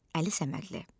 Əli Səmədli.